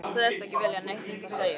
Sagðist ekki vilja neitt um það segja.